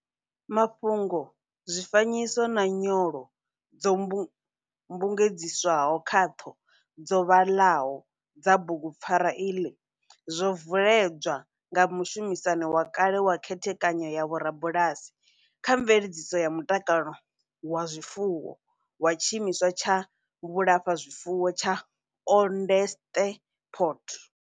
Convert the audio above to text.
Mafhungo, zwifanyiso na nyolo dzo mbugedziswaho khaṱho dzo vhaḽaho dza bugu pfarwa iḽi zwo veledzwa nga mushumisani wa kale kha Khethekanyo ya Vhorubalasi kha Mveledziso ya Mutakalo wa Zwifuwo wa Tshimiswa tsha Vhulafha zwifuwo tsha Onderstepoort.